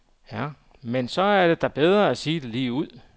Men så er det da bedre at sige det ligeud.